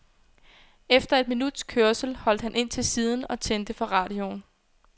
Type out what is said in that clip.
Efter et minuts kørsel holdt han ind til siden og tændte for radioen.